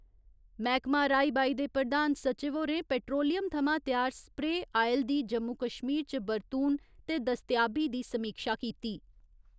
मैह्कमा राई बाई दे प्रधान सचिव होरें पैट्रोलियम थमां त्यार स्प्रे आयल दी जम्मू कश्मीर च बरतून ते दस्तयाबी दी समीक्षा कीती।